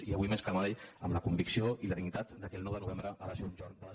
i avui més que mai amb la convicció i la dignitat que el nou de novembre ha de ser un jorn de